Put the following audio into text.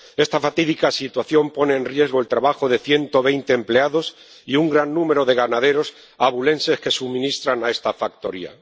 Esta fatídica situación pone en riesgo el trabajo de 120 empleados y un gran número de ganaderos abulenses que suministran a esta factoría.